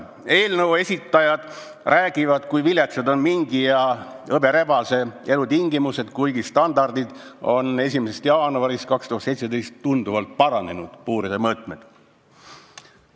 Eelnõu esitajad räägivad, kui viletsad on mingi ja hõberebase elutingimused, kuigi standardid on 1. jaanuarist 2017 tunduvalt paranenud, puuride mõõtmed on suurenenud.